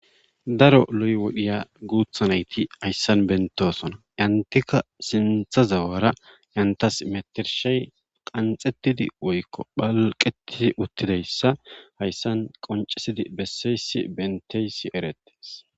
daro loy wodhiya guutha nayti hayssan bentosona entika sintha zawara entas metershey qanxettidi woykko phalqeti uttidayssa hayssan qoncisidi besseysi benteysi erette